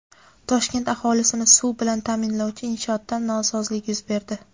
Toshkent aholisini suv bilan ta’minlovchi inshootda nosozlik yuz berdi.